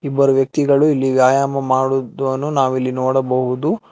ಇಬ್ಬರು ವ್ಯಕ್ತಿಗಳು ಇಲ್ಲಿ ವ್ಯಾಯಾಮ ಮಾಡುದ್ದನ್ನು ನಾವು ಇಲ್ಲಿ ನೋಡಬಹುದು.